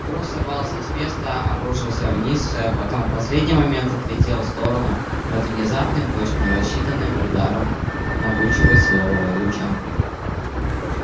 груз сорвался с места обрушился вниз потом в последний момент отлетел в сторону под внезапным точно рассчитанным ударом могучего силового луча